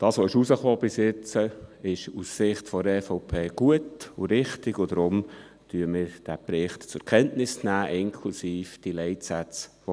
Was bisher herausgekommen ist, ist aus Sicht der EVP gut und richtig, und deshalb nehmen wir diesen Bericht zur Kenntnis, inklusive der formulierten Leitsätze.